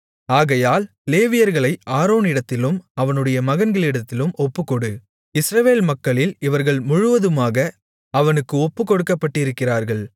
ஆகையால் லேவியர்களை ஆரோனிடத்திலும் அவனுடைய மகன்களிடத்திலும் ஒப்புக்கொடு இஸ்ரவேல் மக்களில் இவர்கள் முழுவதுமாக அவனுக்கு ஒப்புக்கொடுக்கப்பட்டிருக்கிறார்கள்